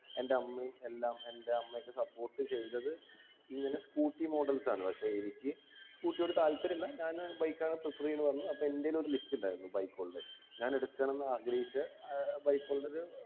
എൻ്റെ അമ്മയും എല്ലാം എൻ്റെ അമ്മക്ക് support ചെയ്തത് ഇങ്ങനെ scooter models ആണ് പക്ഷെ എനിക്ക് scooter യോട് താല്പര്യല്ല ഞാന് bike ആണ് prefer ചെയ്യന്നെ പറഞ്ഞു അപ്പം എൻ്റെൽ ഒരു list ഉണ്ടാരുന്നു bike ഉള്ളെ ഞാനെടുക്കണംന്നാഗ്രഹിച്ച ആഹ് bike ഉള്ളത്